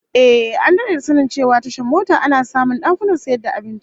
Ehh, an dade da sanin cewa tashar mota ana samun dakunan sayar da abinci